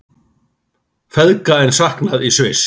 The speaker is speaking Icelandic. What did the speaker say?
Feðga enn saknað í Sviss